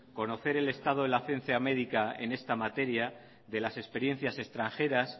conocer el estado de la ciencia médica en esta materia de las experiencias extranjeras